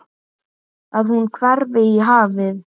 Að hún hverfi í hafið.